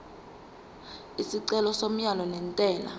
isicelo somyalo wentela